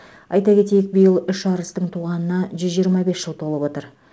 айта кетейік биыл үш арыстың туғанына жүз жиырма бес жыл толып отыр